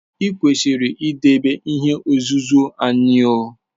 I kwesiri idebe ihe nzuzo anyi o!